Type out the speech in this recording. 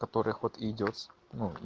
которых вот идёт с ну